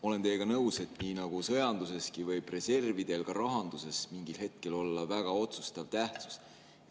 Olen teiega nõus, et nii nagu sõjanduseski, võib reservidel ka rahanduses mingil hetkel olla väga otsustav tähtsus.